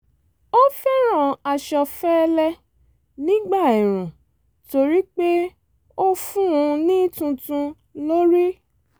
ó fẹ́ràn aṣọ fẹ́lẹ́ nígbà ẹ̀ẹ̀rùn torí pé ó fún un ní túntún lórí